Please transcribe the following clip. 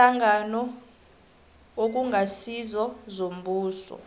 iinhlangano okungasizo zombuso